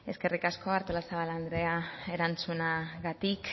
eskerrik asko artolazabal andrea erantzunagatik